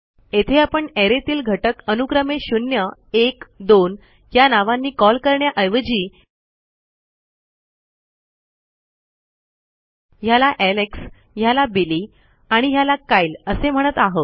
येथे आपणarrayतील घटक अनुक्रमे शून्य एक दोन या नावांनी कॉल करण्याऐवजी ह्याला एलेक्स ह्याला बिली आणि ह्याला कायल असे म्हणत आहोत